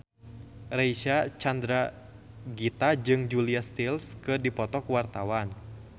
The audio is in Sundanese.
Reysa Chandragitta jeung Julia Stiles keur dipoto ku wartawan